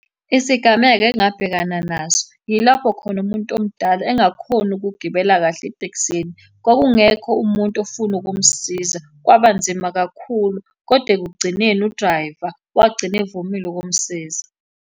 Isigameko engabhekana naso, yilapho khona umuntu omdala engakhoni ukugibela kahle etekisini. Kwakungekho umuntu ofuna ukumsiza, kwaba nzima kakhulu, kodwa ekugcineni udrayiva wagcina evumile ukumsiza.